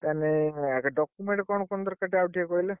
ତାହେନେ document କଣ କଣ ଦରକାର ଟିକେ ଆଉ ଟିକେ କହିଲେ!